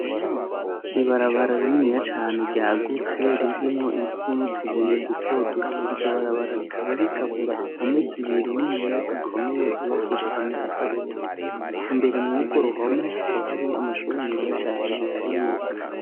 Ibarabara rinina cane ryagutse ririmo ipfunutubuye duto duto, iryo barabara rikaba rigabura impomezibiri n'iniyazi ikomeye zubakishire amatafari aturiyo imbere mubgo ruhome hakaba hariyo amashuri meza cane arimwo.